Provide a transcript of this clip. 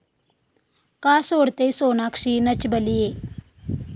का सोडतेय सोनाक्षी 'नच बलिए'?